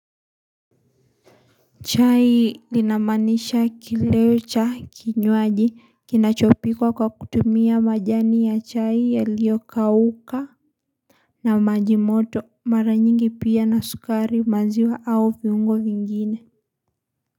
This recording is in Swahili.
Chai linamaanisha kileo cha kinywaji kinachopikwa kwa kutumia majani ya chai yaliokauka na maji moto mara nyingi pia na sukari maziwa au viungo vingine.